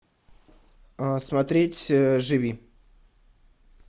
смотреть живи